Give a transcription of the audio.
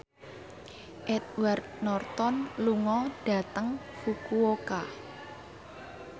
Edward Norton lunga dhateng Fukuoka